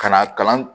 Ka na kalan